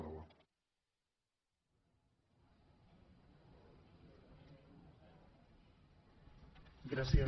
gràcies